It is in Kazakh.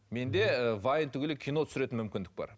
менде ііі вайн түгілі кино түсіретін мүмкіндік бар